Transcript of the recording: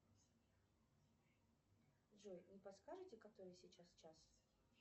джой не подскажете который сейчас час